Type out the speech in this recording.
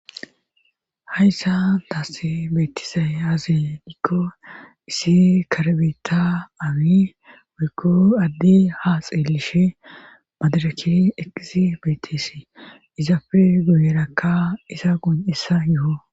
Hayssa taasi beetisay aazedikko issi karbeta amii woykko addi ha xeelishe madaraki eqisi beettisi izaafe guyerakka isa goun'issa yuho.